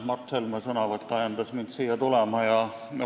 Mart Helme sõnavõtt ajendas mind siia tulema.